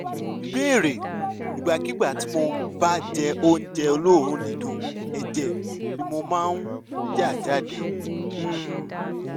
ìbéèrè: ìgbàkigbà tí mo bá jẹ oúnjẹ olóòórùn dídùn ẹ̀jẹ̀ ni mo máa ń yà jáde um